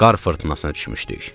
Qar fırtınasına düşmüşdük.